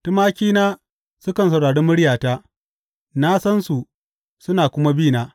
Tumakina sukan saurari muryata; na sansu, suna kuma bi na.